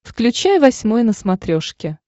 включай восьмой на смотрешке